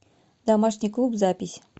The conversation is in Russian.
домашний клуб запись